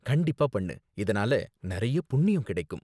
கண்டிப்பா பண்ணு, இதனால நிறைய புண்ணியம் கிடைக்கும்.